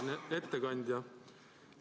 Auväärne ettekandja!